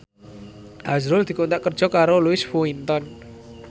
azrul dikontrak kerja karo Louis Vuitton